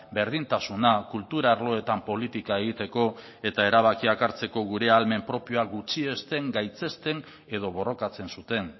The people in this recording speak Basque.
berdintasuna kultura arloetan politika egiteko eta erabakiak hartzeko gure ahalmen propio gutxiesten gaitzesten edo borrokatzen zuten